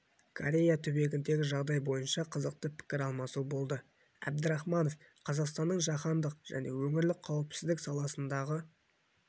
корея түбегіндегі жағдай бойынша қызықты пікір алмасу болды әбдірахманов қазақстанның жаһандық және өңірлік қауіпсіздік саласындағы